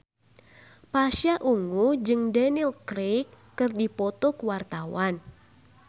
Pasha Ungu jeung Daniel Craig keur dipoto ku wartawan